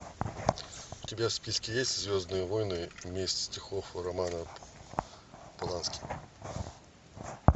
у тебя в списке есть звездные войны месть ситхов романа полански